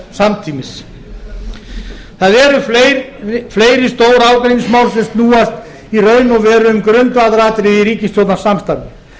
samtímis það eru fleiri stór ágreiningsmál sem snúast í raun og veru um grundvallaratriði í ríkisstjórnarsamstarfi